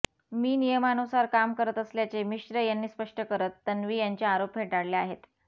मी नियमानुसार काम करत असल्याचे मिश्र यांनी स्पष्ट करत तन्वी यांचे आरोप फेटाळले आहेत